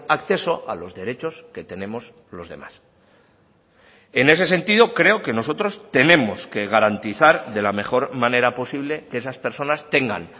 acceso a los derechos que tenemos los demás en ese sentido creo que nosotros tenemos que garantizar de la mejor manera posible que esas personas tengan